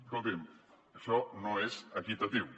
escoltin això no és equitatiu